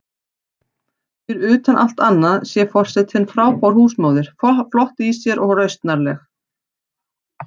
Fyrir utan allt annað sé forsetinn frábær húsmóðir, flott í sér og rausnarleg.